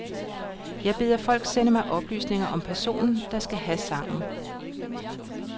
Jeg beder folk sende mig oplysninger om personen, der skal have sangen.